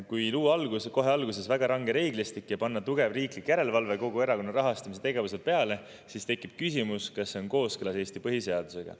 Kui luua kohe alguses väga range reeglistik ja kogu erakondade rahastamise tegevuse peale pannakse tugev riiklik järelevalve, siis tekib küsimus, kas see on kooskõlas Eesti põhiseadusega.